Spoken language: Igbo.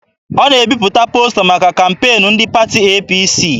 Ọ na-ebipụta posta maka kampeenu ndị pati APC.